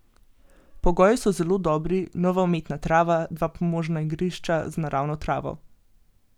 Pogoji so zelo dobri, nova umetna trava, dva pomožna igrišča z naravno travo.